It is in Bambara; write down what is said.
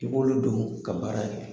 I b'olu don ka baara kɛ.